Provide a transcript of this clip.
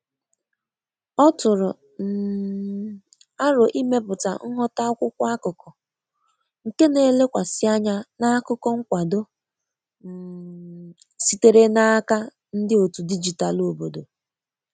Ọ tụrụ um arọ imepụta nghota akwụkwo akụkụ ,nke na -elekwasi anya na akụkọ nkwado um sitere n'aka ndi otu dijitalụ obodo.